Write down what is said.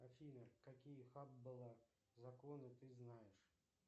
афина какие хаббла законы ты знаешь